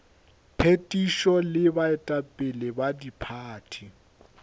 phethišo le baetapele ba diphathi